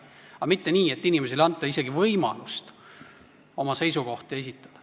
Aga mitte nii, et inimesele ei anta isegi võimalust oma seisukohti esitada.